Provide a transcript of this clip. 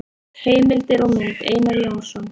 Heimildir og mynd: Einar Jónsson.